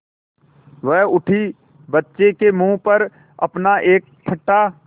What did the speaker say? वह उठी बच्चे के मुँह पर अपना एक फटा